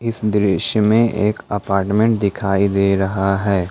इस दृश्य में एक अपार्टमेंट दिखाई दे रहा है।